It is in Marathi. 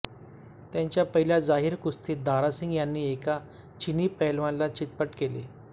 त्यांच्या पहिल्या जाहीर कुस्तीत दारासिंग यांनी एका चिनी पहिलवानाला चितपट केले